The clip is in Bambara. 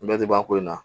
Bɛɛ tɛ ban ko in na